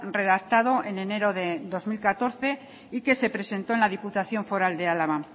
redactado en enero de dos mil catorce y que se presentó en la diputación foral de álava